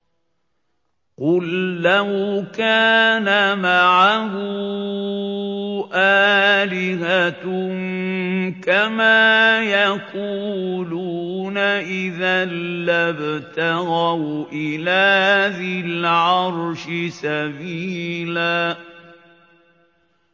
قُل لَّوْ كَانَ مَعَهُ آلِهَةٌ كَمَا يَقُولُونَ إِذًا لَّابْتَغَوْا إِلَىٰ ذِي الْعَرْشِ سَبِيلًا